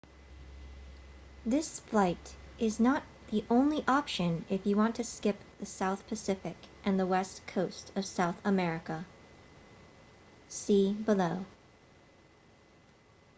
this flight is not the only option if you want to skip the south pacific and the west coast of south america. see below